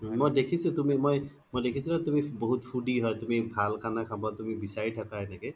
মই দেখিছো, মই দেখিছো নহয় তুমি বহুত foodie হয় তুমি ভাল খানা খব বিচাৰি থাকা এনেকে